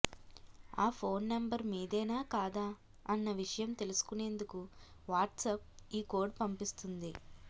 ఆ phone number మీదేనా కాదా అన్న విషయం తెలుసుకునేందుకు వాట్సప్ ఈ కోడ్ పంపిస్తుంది